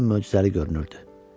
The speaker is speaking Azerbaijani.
möcüzəli görünürdü.